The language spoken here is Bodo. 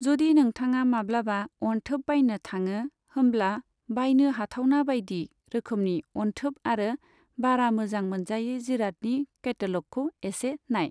जदि नोंथाङा माब्लाबा अनथोब बायनो थाङो, होमब्ला बायनो हाथावना बायदि रोखोमनि अनथोब आरो बारा मोजां मोनजायै जिरादनि केटैल'गखौ एसे नाय।